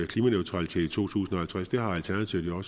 klimaneutralitet to tusind og halvtreds at det har alternativet jo